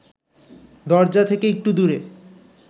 দরজা থেকে একটু দূরে